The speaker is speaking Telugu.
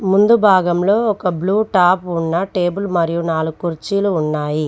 ముందు భాగంలో ఒక బ్లూ టాప్ ఉన్న టేబుల్ మరియు నాలుగు కుర్చీలు ఉన్నాయి.